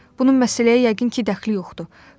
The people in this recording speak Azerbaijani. Bunun məsələyə yəqin ki, dəxli yoxdur.